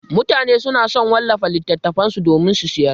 Mutane suna so su wallafa littattafan su domin su sayar.